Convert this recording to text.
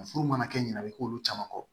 Furu mana kɛ ɲinɛ a bɛ k'olu caman kɔ